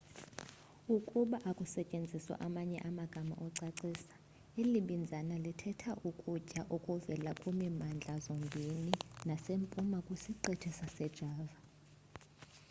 ukuba akusetyenziswa amanye amagama okucacisa eli binzana lithetha ukutya okuvela kwimimandla zombindi nasempuma kwisiqithi sasejava